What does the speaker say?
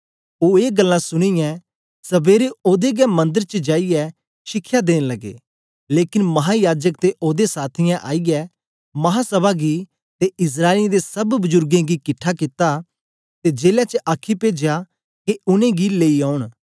ओ ए गल्लां सुनीयै सबेरे ओदे गै मंदर च जाईयै शिखया देन लगे लेकन महायाजक ते ओदे साथियें आईयै महासभै गी ते इस्राएलियें दे सब बुजुर्गें गी किट्ठा कित्ता ते जेले च आखी पेजया के उनेंगी लेई औन